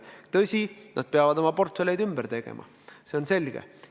Tõsi, nad peavad oma portfelle ümber tegema, see on selge.